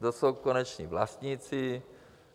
Kdo jsou koneční vlastníci?